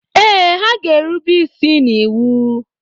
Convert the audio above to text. Ee, ha ga-erube isi n'iwu.